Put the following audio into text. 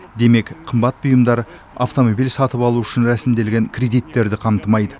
демек қымбат бұйымдар автомобиль сатып алу үшін рәсімделген кредиттерді қамтымайды